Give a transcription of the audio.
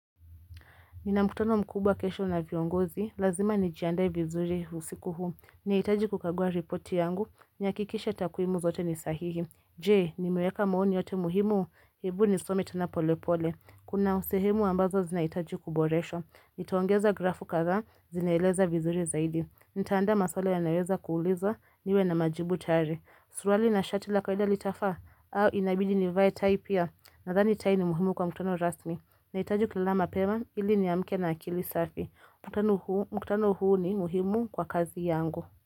Nina mkutano mkubwa kesho na viongozi, lazima ni jiandae vizuri usiku huu. Naitaji kukagua reporti yangu, ni akikisha takuimu zote ni sahihi. Je, ni muweka maoni yote muhimu, hebu nisome tena polepole. Kuna usehemu ambazo zina mitaji kuboresho. Nitaongeza grafu kaza, zineeleza vizuri zaidi. Nitaanda maswala yanayoweza kuuliza, niwe na majibu tari. Surali na shati la kaweda litafaa, au inabidi ni vya tai pia. Nathani tai ni muhimu kwa mkutano rasmi. Nahitaji kulala mapema ili niamke na akili safi. Mkutano huu ni muhimu kwa kazi yangu.